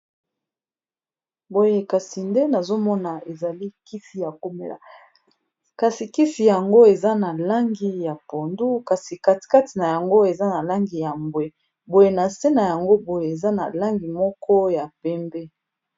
Boye kasi nde nazomona ezali kisi ya komela kasi, kisi yango eza na langi ya pondu kasi katikati na yango eza na langi ya mbwe boye na se na yango boye eza na langi moko ya pembe.